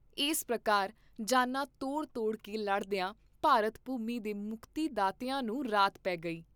ਇਸ ਪ੍ਰਕਾਰ ਜਾਨਾਂ ਤੋੜ ਤੋੜ ਕੇ ਲੜਦੀਆਂ ਭਾਰਤ ਭੂਮੀ ਦੇ ਮੁਕਤੀ ਦਾਤਿਆਂ ਨੂੰ ਰਾਤ ਪੇ ਗਈ।